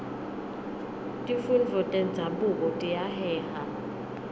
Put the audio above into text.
tifundvo tenzabuko tiyaheha